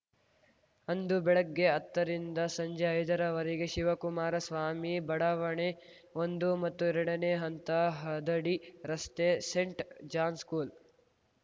ಅಂದು ಬೆಳಗ್ಗೆ ಹತ್ತರಿಂದ ಸಂಜೆ ಐದರ ವರೆಗೆ ಶಿವಕುಮಾರ ಸ್ವಾಮಿ ಬಡಾವಣೆ ಒಂದು ಮತ್ತು ಎರಡನೇ ಹಂತ ಹದಡಿ ರಸ್ತೆ ಸೇಂಟ್‌ ಜಾನ್‌ ಸ್ಕೂಲ್‌